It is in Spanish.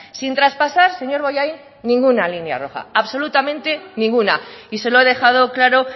sin traspasar señor bollain ninguna línea roja absolutamente ninguna y se lo he dejado claro